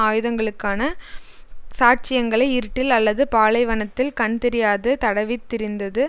ஆயுதங்களுக்கான சாட்சியங்களை இருட்டில் அல்லது பாலைவனத்தில் கண்தெரியாது தடவித்திரிந்தது